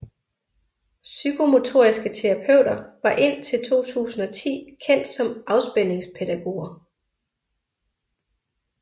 Psykomotoriske terapeuter var indtil 2010 kendt som afspændingspædagoger